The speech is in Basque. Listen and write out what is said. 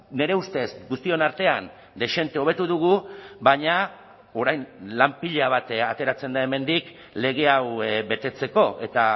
nire ustez guztion artean dezente hobetu dugu baina orain lan pila bat ateratzen da hemendik lege hau betetzeko eta